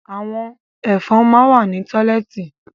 Àwọn Ẹ̀fọ̀n máa ń wà ní tọ́lẹ́ẹ́tì